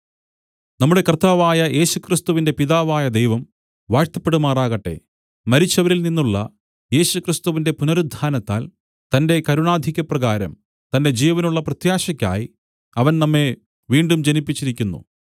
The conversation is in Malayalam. നമ്മുടെ കർത്താവായ യേശുക്രിസ്തുവിന്റെ പിതാവായ ദൈവം വാഴ്ത്തപ്പെടുമാറാകട്ടെ മരിച്ചവരിൽ നിന്നുള്ള യേശുക്രിസ്തുവിന്റെ പുനരുത്ഥാനത്താൽ തന്റെ കരുണാധിക്യപ്രകാരം തന്റെ ജീവനുള്ള പ്രത്യാശയ്ക്കായി അവൻ നമ്മെ വീണ്ടും ജനിപ്പിച്ചിരിക്കുന്നു